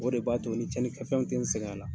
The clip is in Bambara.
O de b'a to ni cɛnni kɛ fɛnw tɛ n sɛgɛn a la.